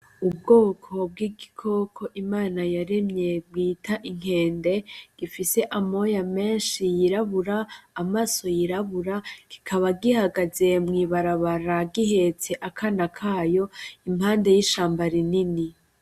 Ubwoko bw’igikoko imana yaremye bita Inkende bufise amoya menshi yirabura , amaso yirabura kikaba gihagaze mwibarabara gihetse akana kayo impande y’ishamba rinini.